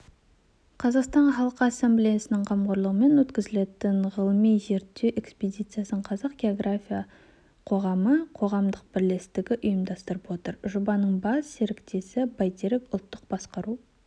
қазақстан халқы ассамблеясының қамқорлығымен өткізілетін ғылыми-зерттеу экспедициясын қазақ географиялық қоғамы қоғамдық бірлестігі ұйымдастырып отыр жобаның бас серіктесі бәйтерек ұлттық басқару